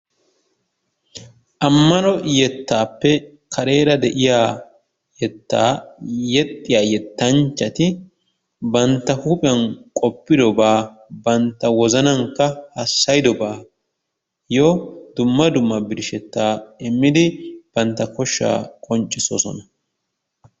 Ammano yettaappe kareera de'iya yettaa yexxiya yettanchchati bantta huuphiyan qoppidobaa bantta wozzanankka hassayidobbaayoo dumma dumma birshshetaa immidi bantta koshshaa qonccisoosona.